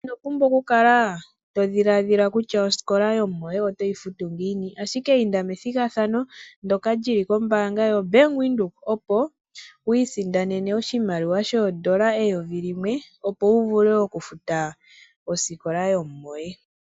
Ino pumbwa oku kala todhiladhila kutya osikola yomumoye oto yi futu ngiini. Inda ashike methigathano ndoka lyili ko-Bank Windhoek, opo wu isindanene oshimaliwa shoondola eyovi limwe, opo wuvule oku futa osikola yomumoye.